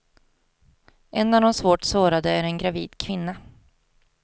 En av de svårt sårade är en gravid kvinna.